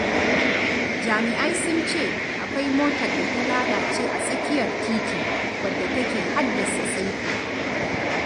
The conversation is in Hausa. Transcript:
Jami'ai sun ce akwai motar da ta lalace a tsakiyar titi, wadda take haddasa tsaiko.